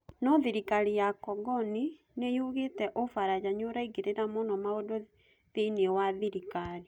No thirikari ya congoni nĩyugĩtĩ Ũfaraja niirangĩrĩra mũno maũndũ thĩini wa thirikari